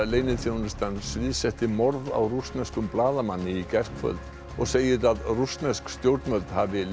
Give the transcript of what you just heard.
leyniþjónustan sviðsetti morð á rússneskum blaðamanni í gærkvöld og segir að rússnesk stjórnvöld hafi